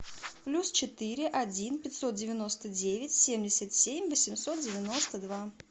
плюс четыре один пятьсот девяносто девять семьдесят семь восемьсот девяносто два